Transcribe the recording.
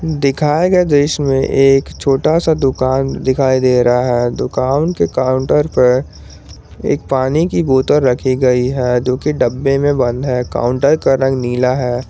दिखाये गये दृश्य में एक छोटा सा दुकान दिखायी दे रहा है दुकान के काउंटर पर एक पानी की बोतल रखी गयी है जोकि डब्बे में बंद है काउंटर का रंग नीला है।